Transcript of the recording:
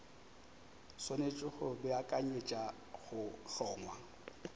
swanetše go beakanyetša go hlongwa